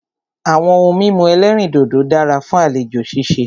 Àwọn ohun mímu ẹ̀lẹ́rìndodò dára fún àlejò ṣíṣe.